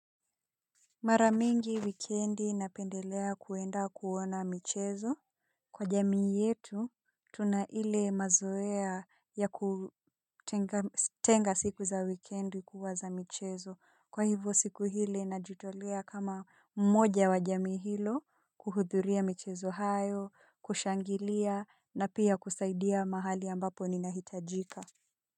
Mara mingi wikendi napendelea kuenda kuona michezo. Kwa jamii yetu, tuna ile mazoea ya kutenga siku za wikendi kuwa za michezo. Kwa hivo siku hili najitolea kama mmoja wa jamii hilo, kuhudhuria michezo hayo, kushangilia na pia kusaidia mahali ambapo ninahitajika.